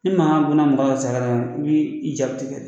Ni makan gunna mɔkɔ ka saya i bi i ja tikɛ